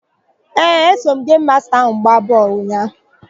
Ee, eso m gemu masta wee gbaa bọọlụ ụnyaahụ.